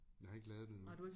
Jeg har ikke lavet det nu